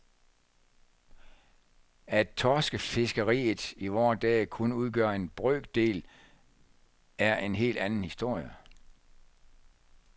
At torskefiskeriet i vore dage kun udgør en brøkdel, er en helt anden historie.